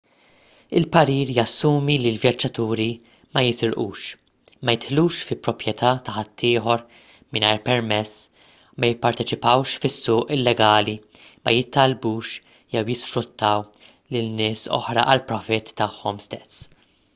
il-parir jassumi li l-vjaġġaturi ma jisirqux ma jidħlux fi proprjetà ta' ħaddieħor mingħajr permess ma jipparteċipawx fis-suq illegali ma jittallbux jew jisfruttaw lil nies oħra għall-profitt tagħhom stess